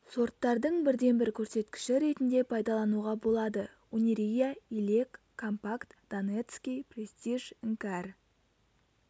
сорттардың бірден бір көрсеткіші ретінде пайдалануға болады унирия илек компакт донецкий престиж іңкәр